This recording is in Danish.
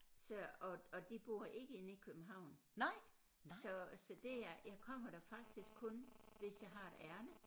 Så og og de bor ikke inde i København så så det jeg jeg kommer der faktisk kun hvis jeg har et ærinde